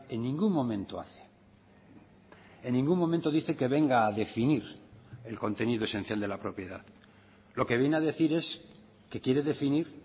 en ningún momento hace en ningún momento dice que venga a definir el contenido esencial de la propiedad lo que viene a decir es que quiere definir